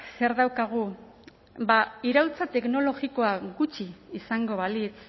zer daukagu bada iraultza teknologikoa gutxi izango balitz